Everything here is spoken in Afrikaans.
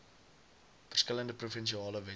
verskillende provinsiale wette